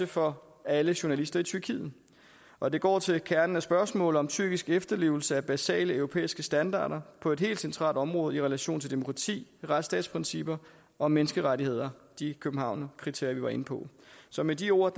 for alle journalister i tyrkiet og det går til kernen af spørgsmålet om tyrkisk efterlevelse af basale europæiske standarder på et helt centralt område i relation til demokrati retsstatsprincipper og menneskerettigheder de københavnerkriterier vi var inde på så med de ord